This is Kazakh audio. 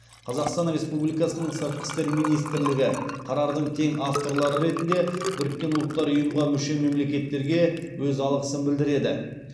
қазақстан республикасының сыртқы істер министрлігі қарардың тең авторлары ретінде біріккен ұлттар ұйымға мүше мемлекеттерге өз алғысын білдіреді